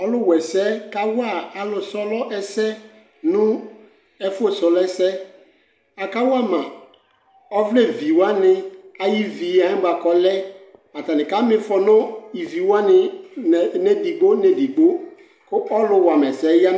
Ɔlʋwɛsɛ kawa alʋ sɔlɔ ɛsɛ nʋ ɛfʋ sɔlɔ ɛsɛ Akawa ma ɔvlɛviwanɩ ayivie bʋa k'ɔlɛ Atanɩ kamïfɔ nʋ iviwanɩ nɛ n'edigbo nedigbo k'ɔlʋ wamɛsɛɛ ya